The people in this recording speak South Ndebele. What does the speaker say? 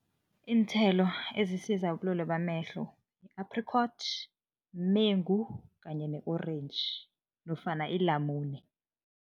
Iinthelo ezisiza ubulwelwe bamehlo, yi-apricot, mengu kanye ne-orentji, nofana ilamule.